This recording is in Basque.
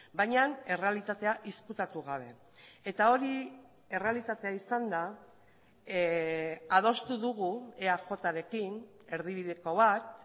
baina errealitatea ezkutatu gabe eta hori errealitatea izanda adostu dugu eajrekin erdibideko bat